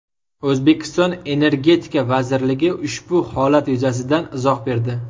O‘zbekiston Energetika vazirligi ushbu holat yuzasidan izoh berdi .